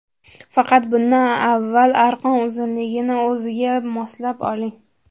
Faqat bundan avval arqon uzunligini o‘zingizga moslab oling.